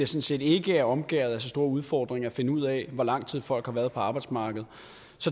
set ikke er omgærdet af så store udfordringer at finde ud af hvor lang tid folk har været på arbejdsmarkedet